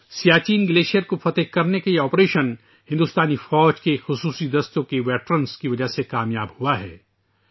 Siachen glacier کو فتح کرنے کا یہ آپریشن ہندوستانی فوج کے خصوصی دستوں کے رضاکاروں کی وجہ سے کامیاب ہوا ہے